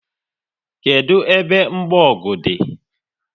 Kedụ ebe mgbogu dị?